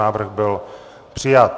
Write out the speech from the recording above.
Návrh byl přijat.